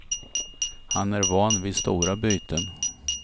Han är van vid stora byten.